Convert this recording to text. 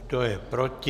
Kdo je proti?